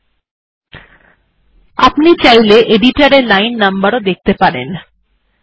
এখন আপনি চাইলে এডিটর এ লাইন এর নম্বর ও দেখতে পারেন